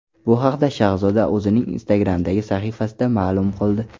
Bu haqda Shahzoda o‘zining Instagram’dagi sahifasida ma’lum qildi .